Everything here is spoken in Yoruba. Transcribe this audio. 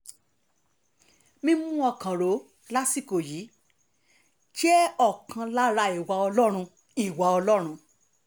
mímú ọkàn rò lásìkò yìí jẹ́ ọ̀kan lára ìwà ọlọ́run ìwà ọlọ́run